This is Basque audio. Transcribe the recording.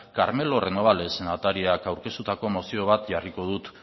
carmelo renobales senatariak aurkeztutako mozio bat jarriko dut